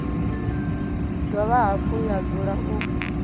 dovha hafhu ya dzula u